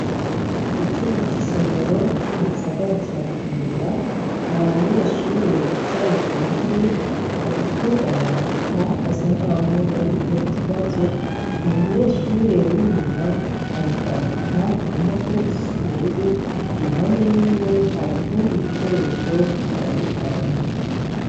Icumba c'isomero co mugisagara ca bujumbura hari abanyeshure bicaye kuntebe bariko barandika basa nkaho bariko barakora ikibazo, umunyeshure w'inyuma ari kwandika kumpapuro zisa n'ubururu iruhande yiwe hari utudi dukoresho dutadukanye.